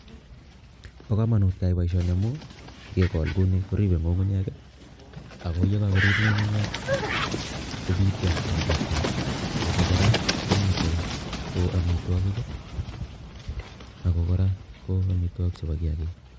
Bo kamanut keyai boisioni amun ngekol kouni koripei ngungunyek ako ye kakoriip ngungunyek kopitio eng chokchinet ako kora, komitei ko amitwokik ako kora, ko amitwokik chebo kiyakik.